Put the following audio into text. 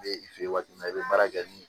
N bɛ i fɛ yen waati min na i bɛ baara kɛ ni